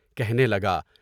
کہنے لگا۔